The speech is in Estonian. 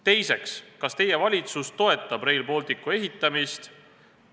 Teiseks, kas teie valitsus toetab Rail Balticu ehitamist?